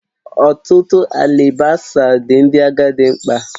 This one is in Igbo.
Ọtụtụ alibasa dị Ndị agadi mkpa